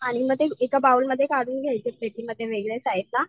आणि म ते एका बाउल मध्ये काढून घ्यायचे प्लेटी मध्ये वेगळे साईट ला.